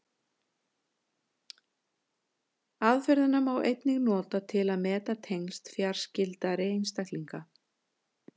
Aðferðina má einnig nota til að meta tengsl fjarskyldari einstaklinga.